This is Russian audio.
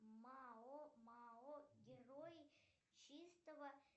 мао мао герой чистого